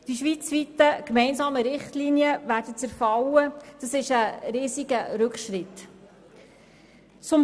Die schweizweit gemeinsamen Richtlinien werden zerfallen, was ein riesiger Rückschritt wäre.